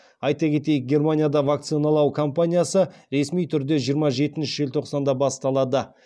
айта кетейік германияда вакциналау кампаниясы ресми түрде жиырма жетінші желтоқсанда басталады